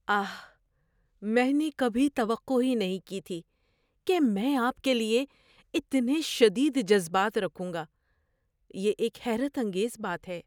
آہ! میں نے کبھی توقع ہی نہیں کی تھی کہ میں آپ کے لیے اتنے شدید جذبات رکھوں گا۔ یہ ایک حیرت انگیز بات ہے۔